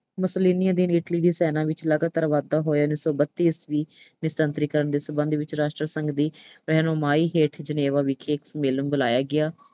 ਸੈਨਾ ਵਿੱਚ ਲਗਾਤਾਰ ਵਾਧਾ ਹੋਇਆ। ਉਨੀ ਸੌ ਬੱਤੀ ਈਸਵੀ ਵਿੱਚ ਨਿਸ਼ਸਤਰੀਕਰਨ ਦੇ ਸਬੰਧ ਵਿੱਚ ਰਾਸ਼ਟਰੀ ਸੰਘ ਦੀ ਰਹਿਨੁਮਾਈ ਹੇਠ Geneva ਵਿਖੇ ਇੱਕ ਸੰਮੇਲਨ ਬੁਲਾਇਆ ਗਿਆ।